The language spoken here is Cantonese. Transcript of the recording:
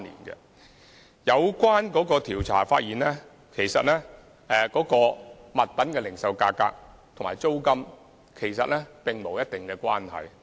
有關調查發現物品零售價格與租金並無必然關係。